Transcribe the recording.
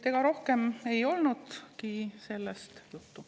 Ega rohkem ei olnudki sellest juttu.